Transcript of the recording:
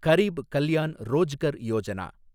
Garib Kalyan Rozgar Yojana